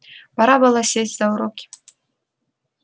пора было сесть за уроки